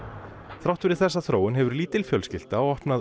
þrátt fyrir þessa þróun hefur lítil fjölskylda opnað